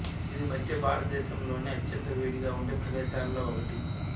ఇది మధ్య భారతదేశంలోని అత్యంత వేడిగా ఉండే ప్రదేశాలలో ఒకటి